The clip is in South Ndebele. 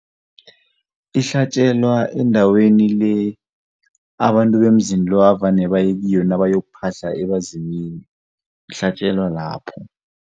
Ihlatjelwa endaweni le abantu bemzini lo evane baye kiyo nabayokuphahla ebazimini, ihlatjelwa lapho.